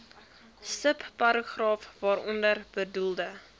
subparagraaf waaronder bedoelde